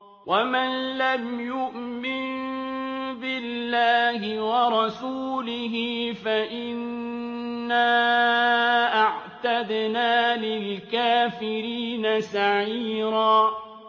وَمَن لَّمْ يُؤْمِن بِاللَّهِ وَرَسُولِهِ فَإِنَّا أَعْتَدْنَا لِلْكَافِرِينَ سَعِيرًا